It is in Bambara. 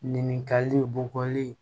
Ɲininkali bɔkɔli